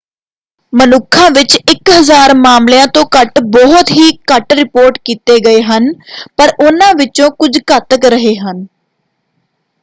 ਮਨੁੱਖਾਂ ਵਿੱਚ ਇਕ ਹਜ਼ਾਰ ਮਾਮਲਿਆਂ ਤੋਂ ਘੱਟ ਬਹੁਤ ਹੀ ਘੱਟ ਰਿਪੋਰਟ ਕੀਤੇ ਗਏ ਹਨ ਪਰ ਉਹਨਾਂ ਵਿਚੋਂ ਕੁਝ ਘਾਤਕ ਰਹੇ ਹਨ।